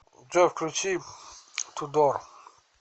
джой включи ту дор синема клаб